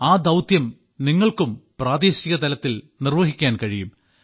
ആ ദൌത്യം നിങ്ങൾക്കും പ്രാദേശികതലത്തിൽ നിർവ്വഹിക്കാൻ കഴിയും